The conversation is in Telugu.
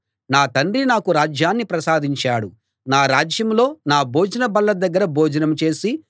నా తండ్రి నాకు రాజ్యాన్ని ప్రసాదించాడు నా రాజ్యంలో నా భోజన బల్ల దగ్గర భోజనం చేసి